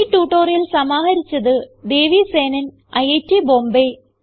ഈ ട്യൂട്ടോറിയൽ സമാഹരിച്ചത് ദേവി സേനൻ ഐറ്റ് ബോംബേ